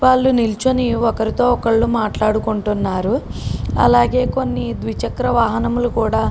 వాలు నిల్చొని ఒకరితో ఒకళ్ళు మాట్లాడుకుంటున్నారు. అలాగే కొన్ని ద్విచికర వాహనములు కూడా --